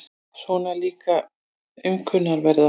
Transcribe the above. Svona líka aumkunarverða.